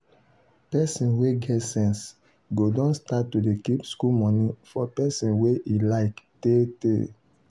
person wey get sense go don start to dey keep school money for person wey e like tey tey.